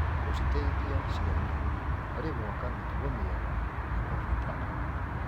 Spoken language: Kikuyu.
Gũciteithia ciana harĩ gwaka mĩtugo mĩega nĩ gwa bata.